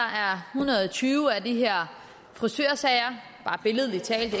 hundrede og tyve af de her frisørsager det er billedlig talt